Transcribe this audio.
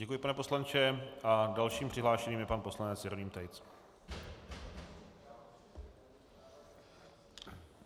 Děkuji, pane poslanče, a dalším přihlášeným je pan poslanec Jeroným Tejc.